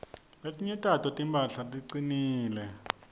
letinye tato timphahla ticinile